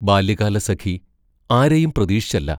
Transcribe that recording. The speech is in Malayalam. ബാല്യകാലസഖി ആരെയും പ്രതീക്ഷിച്ചല്ല.